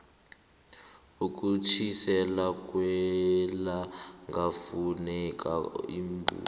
ekutjhiseni kwellangakufuneka iimbuko